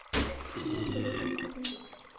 фильм дорога на покажи